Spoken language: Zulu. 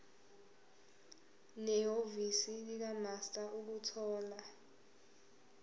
nehhovisi likamaster ukuthola